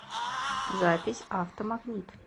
запись автомагнит